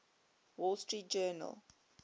wall street journal